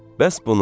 Bəs bunun?